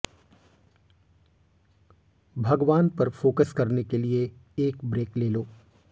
भगवान पर फोकस करने के लिए एक ब्रेक ले लो